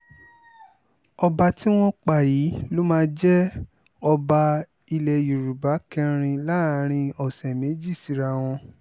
ọba tí wọ́n pa yìí ló máa jẹ́ ọba ilẹ̀ yorùbá kẹrin láàrin ọ̀sẹ̀ méjì síra wọn